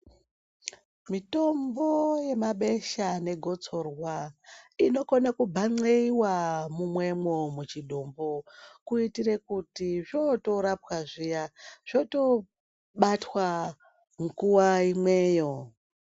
Mitombo yemabesha negotsorwa inokona kunxeiwa munwemo muchitumbu kuitire kuti zvotorapwa zviya zvotobatwa nguwa imweyo.